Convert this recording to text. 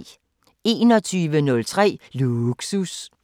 21:03: Lågsus